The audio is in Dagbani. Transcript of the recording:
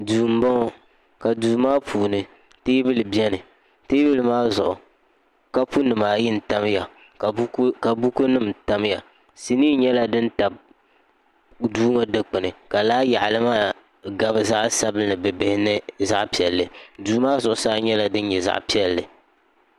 duu n boŋo ka duu maa puuni teebuli biɛni teebuli maa zuɣu kapu nim ayi n tamya ka buku nim tamya sinii nyɛla din tabi duu ŋo dikpuni ka laa yaɣali maa gabi zaɣ sabinli bibihi ni zaɣ piɛlli duu maa zuɣusaa nyɛla din nyɛ zaɣ piɛlli